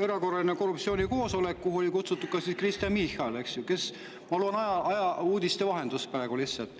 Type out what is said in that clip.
erakorraline korruptsioonikoosolek, kuhu oli kutsutud ka Kristen Michal, kes – ma loen praegu seda kõike ajaleheuudiste vahendusel – sinna ei ilmunud.